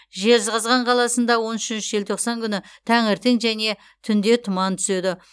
жезқазған қаласында он үшінші желтоқсан күні таңертең және түнде тұман түседі